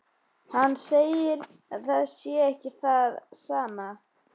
Hann segir að það sé ekki það sama.